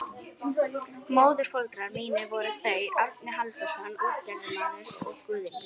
Móðurforeldrar mínir voru þau Árni Halldórsson útgerðarmaður og Guðný